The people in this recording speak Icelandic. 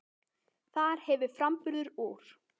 Þar hefur framburður úr